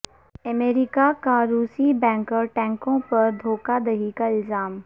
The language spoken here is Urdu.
امریکہ کا روسی بینکر ٹینکوو پر دھو کہ دہی کا الزام